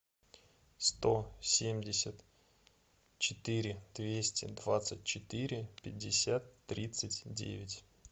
сто семьдесят четыре двести двадцать четыре пятьдесят тридцать девять